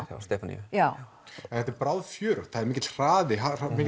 hjá Stefaníu já þetta er það er mikill hraði